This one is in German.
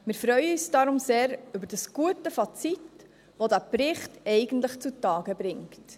Wir freuen uns deshalb sehr über das gute Fazit, das der Bericht eigentlich zutage bringt.